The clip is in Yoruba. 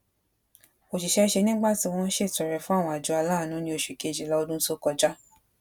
òṣìṣẹ ṣe nígbà tí wọn ń ṣètọrẹ fún àwọn àjọ aláàánú ní oṣu kejila ọdun tó kọjá